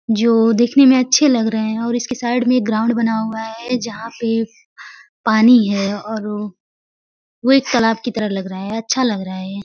जो देखने में अच्छे लग रहे हैं और इसके साइड में एक ग्राउंड बना हुआ है जहां पे पानी है और वह एक तालाब की तरह लग रहा है अच्छा लग रहा है यह --